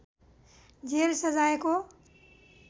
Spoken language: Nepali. जेल सजायको